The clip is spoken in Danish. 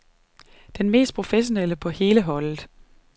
Den mest professionelle på hele holdet.